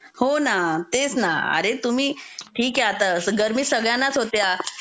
हो ना तेच ना अरे तुम्ही -- ठीक आहे असं आता गर्मी सगळ्यांनाच होते.